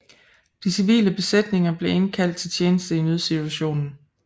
De civile besætninger blev indkaldt til tjeneste i nødsituationen